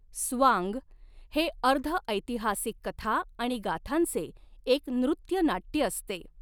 स्वांग हे अर्ध ऐतिहासिक कथा आणि गाथांचे एक नृत्यनाट्य असते.